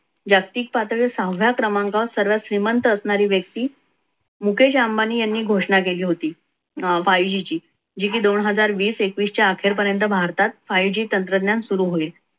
जागतिक पातळीवर सहाव्या क्रमांकावर सर्वात श्रीमंत असणारी व्यक्ती मुकेश अंबानी यांनी घोषणा केली होती. अं five g ची जी की दोन हजार वीस एकविस च्या अखेर पर्यंत भारतात five g तंत्रज्ञान सुरू होईल.